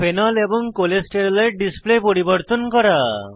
phenol এবং cholesterol এর display পরিবর্তন করা